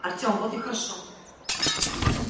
артем вот и хорошо